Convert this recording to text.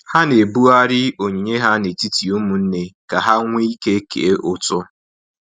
Ha na-ebughari onyinye ha n'etiti ụmụnne ka ha nweike kee ụtụ